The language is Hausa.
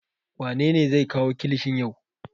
Wane ne zai kawo kilishin yau?